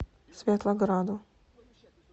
светлограду